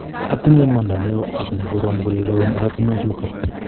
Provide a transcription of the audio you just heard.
atinye imanda neo ak ne korom kole loen oratinwek chutok